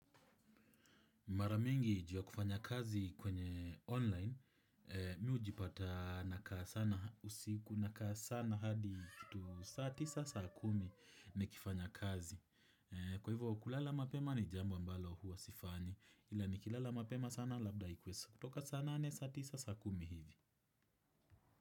Mara mingi juu ya kufanya kazi kwenye online, mi hujipata nakaa sana usiku, nakaa sana hadi kitu saa tisa saa kumi nikifanya kazi. Kwa hivyo kulala mapema ni jambo ambalo huwa sifanyi, ila nikilala mapema sana labda ikuwe kutoka saa naane saa tisa saa kumi hivi.